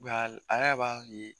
a yɛrɛ b'a ye